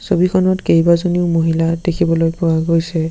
ছবিখনত কেইবাজনীও মহিলা দেখিবলৈ পোৱা গৈছে।